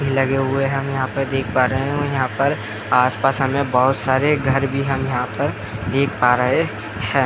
लगे हुए हैं हम यहाँ पर देख पा रहे हैं यहाँ पर आस पास हमें बहुत सारे घर भी हम यहाँ पर देख पा रहे हैं ।